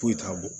Foyi t'a bɔ